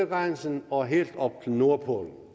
grænse og helt op til nordpolen